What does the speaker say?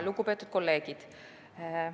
Lugupeetud kolleegid!